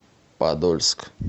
подольск